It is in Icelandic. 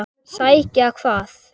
Sækja hvað?